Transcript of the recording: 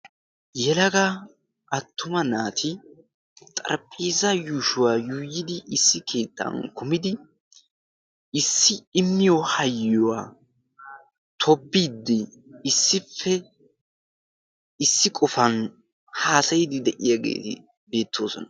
yelaga attuma naati xaraphphiiza yuushuwaa yuuyidi issi kiittan kumidi issi immiyo hayyuwaa tobiiddi issippe issi qofan haasayidi de'iyaagee beettoosona